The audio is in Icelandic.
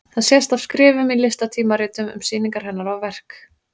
Það sést af skrifum í listatímaritum um sýningar hennar og verk.